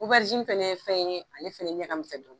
fɛnɛ fɛn ye fɛn ye ale fɛnɛ ɲɛ ka misɛn dɔɔnin